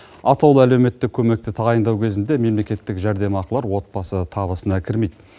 атаулы әлеуметтік көмекті тағайындау кезінде мемлекеттік жәрдемақылар отбасы табысына кірмейді